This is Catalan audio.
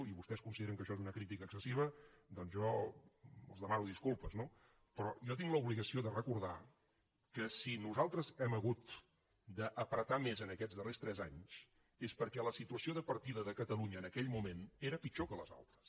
i si vostès consideren que això és una crítica excessiva doncs jo els demano disculpes no però jo tinc l’obligació de recordar que si nosaltres hem hagut d’ apretar més en aquests darrers tres anys és perquè la situació de partida de catalunya en aquell moment era pitjor que les altres